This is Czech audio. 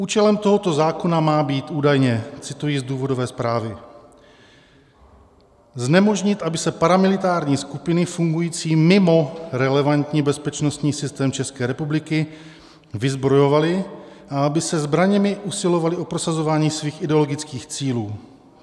Účelem tohoto zákona má být údajně - cituji z důvodové zprávy - "znemožnit, aby se paramilitární skupiny fungující mimo relevantní bezpečnostní systém České republiky vyzbrojovaly a aby se zbraněmi usilovaly o prosazování svých ideologických cílů.